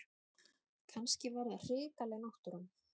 Kannski var það hrikaleg náttúran.